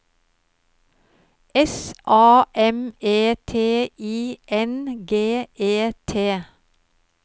S A M E T I N G E T